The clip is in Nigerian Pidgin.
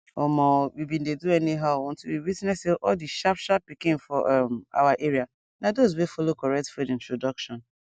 omo we bin dey do anyhow until we witness say all the sharpsharp pikin for um our area na those wey follow correct food introduction